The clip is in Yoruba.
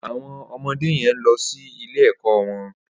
Awọn ọmọdé yèn n lọ si ilé ẹkọ wọn